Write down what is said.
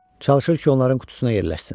Çalışır ki, onların qutusuna yerləşsin.